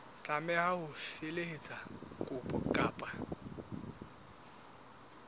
tlameha ho felehetsa kopo ka